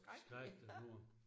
Skrækkeligt gjort